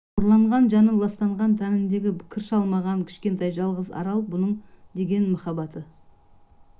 қорланған жаны ластанған тәніндегі кір шалмаған кішкентай жалғыз арал бұның деген махаббаты